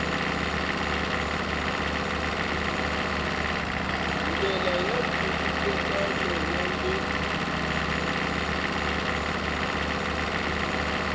ndlela ya nkhulukelano wa le